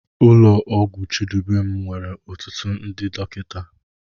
Ụlọ ọgwụ Chidubem nwere ọtụtụ ndị dọkịta.